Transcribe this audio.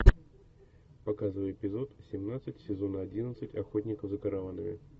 показывай эпизод семнадцать сезона одиннадцать охотников за караванами